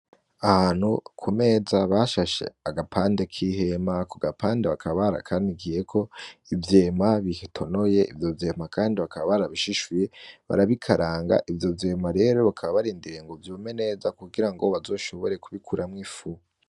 Ahantu ku meza bashashe agapande k'ihema , ako gapande bakaba barakanikiyeko ivyema bitonoye ivyo vyema kandi bakaba barabishishuye barabikaranga ivyo vyema rero bakaba barindiriye ngo vyume neza kugira baze bashobore kubikuramw'ifu.